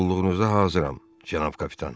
Qulluğunuza hazıram, cənab Kapitan.